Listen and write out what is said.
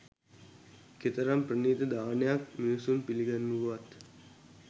කෙතරම් ප්‍රණීත දානයක් මිනිසුන් පිළිගැන්වූවත්